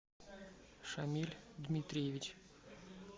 шамиль дмитриевич